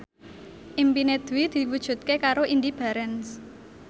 impine Dwi diwujudke karo Indy Barens